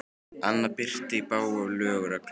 Annað bryti í bága við lög og reglur.